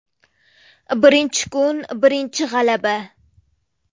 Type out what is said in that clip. Birinchi kun birinchi g‘alaba.